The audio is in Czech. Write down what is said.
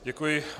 Děkuji.